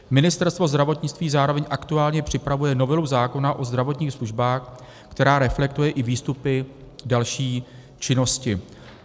Ministerstvo zdravotnictví zároveň aktuálně připravuje novelu zákona o zdravotních službách, která reflektuje i výstupy další činnosti.